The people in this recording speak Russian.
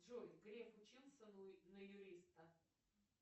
джой грек учился на юриста